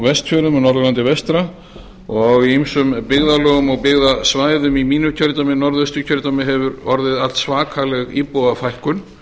norðurlandi vestra og í ýmsum byggðarlögum og byggðasvæðum í mínu kjördæmi norðausturkjördæmi hefur orðið allsvakaleg íbúafækkun